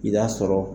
I b'a sɔrɔ